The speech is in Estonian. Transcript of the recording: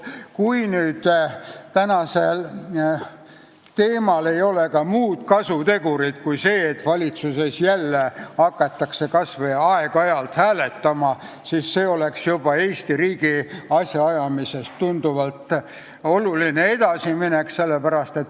Kui tänasel arutelul ei ole muud kasutegurit kui see, et valitsuses hakatakse jälle kas või aeg-ajalt hääletama, siis see oleks Eesti riigi asjaajamises juba oluline edasiminek.